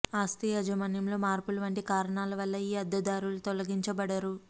ఆస్తి యాజమాన్యంలో మార్పులు వంటి కారణాల వల్ల ఈ అద్దెదారులు తొలగించబడరు